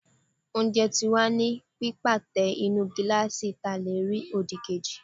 oúnjẹ ti wa ni pipátẹ nínú gilasí ta le rí odíkejí